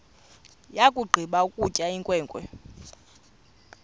yakugqiba ukutya inkwenkwe